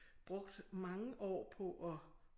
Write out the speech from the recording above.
Brugt mange år på at